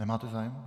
Nemáte zájem?